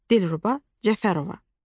Dilruba Cəfərova.